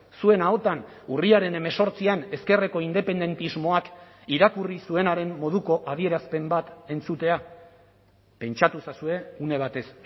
zuen ahotan urriaren hemezortzian ezkerreko independentismoak irakurri zuenaren moduko adierazpen bat entzutea pentsatu ezazue une batez